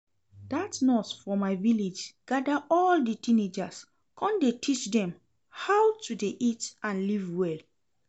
Dat nurse for my village gather all the teenagers come dey teach dem how to dey eat and live well